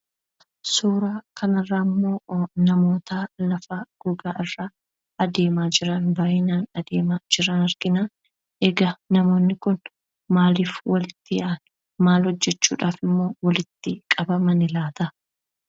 Suuraa kanarraammoo namoota lafa gogaa irra adeemaa jiran, baayyinaan adeemaa jiran argina. Egaa namoonni kun maaliif walitti yaa'an? Maal hojjachuudhafimmoo walitti qabaman laata?